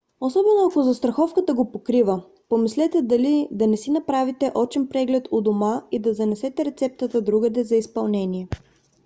особено ако застраховката го покрива помислете дали да не си направите очен преглед у дома и да занесете рецептата другаде за изпълнение